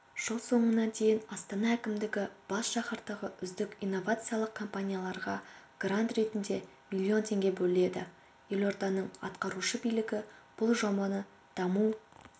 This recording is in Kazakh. жыл соңына дейін астана әкімдігі бас шаһардағы үздік инновациялық компанияларға грант ретінде миллион теңге бөледі елорданың атқарушы билігі бұл жобаны даму